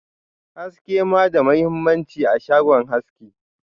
haske ma da mahimmanci a shagon haski.